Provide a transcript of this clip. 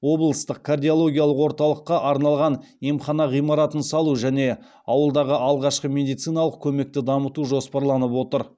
облыстық кардиологиялық орталыққа арналған емхана ғимаратын салу және ауылдағы алғашқы медициналық көмекті дамыту жоспарланып отыр